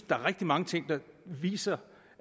der er rigtig mange ting der viser